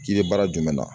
Kiiri baara jumɛn na